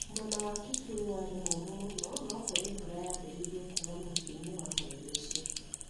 Mũena wa Kitui warĩ mũũmũ mũno, no kũrĩ mbura yaambĩrĩirie kuura mũthia-inĩ wa mweri ũcio.